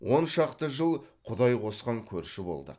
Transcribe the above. он шақты жыл құдай қосқан көрші болдық